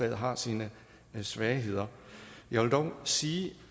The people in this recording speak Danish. har sine svagheder jeg vil dog sige